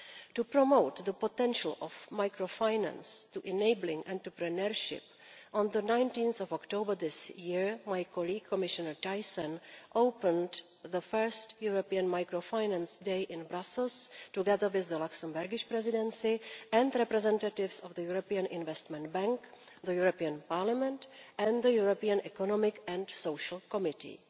To promote the potential of microfinance for enabling entrepreneurship, on 19 October this year my colleague, Commissioner Thyssen, opened the first European Microfinance Day in Brussels, together with the Luxembourg Presidency and representatives of the European Investment Bank, the European Parliament and the European Economic and Social Committee.